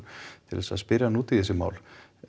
til þess að spyrja hana út í þessi mál